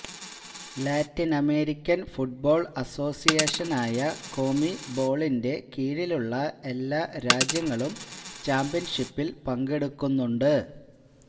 Latin American football അസോസിയേഷനായ കോമിബോളിന്റെ കീഴിലുള്ള എല്ലാ രാജ്യങ്ങളും ചാമ്പ്യൻഷിപ്പിൽ പങ്കെടുക്കുന്നുണ്ട്